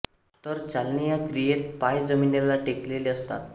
तर चालणे या क्रियेत पाय जमीनीला टेकलेले असतात